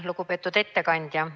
Lugupeetud ettekandja!